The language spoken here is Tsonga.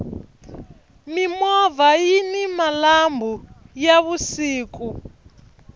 mimovha yini malambhu ya vusiku